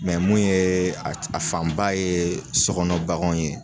mun ye a fanba ye sokɔnɔ baganw ye.